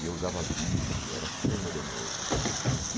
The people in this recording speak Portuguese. E eu usava vídeo, era super modernoso, assim.